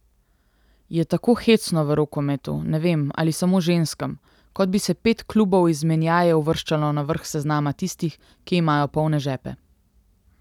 Je tako hecno v rokometu, ne vem, ali samo ženskem, kot bi se pet klubov izmenjaje uvrščalo na vrh seznama tistih, ki imajo polne žepe.